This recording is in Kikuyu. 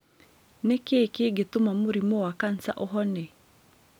nĩ kĩĩ kĩngĩtũma mũrimũ wa kansa ũhone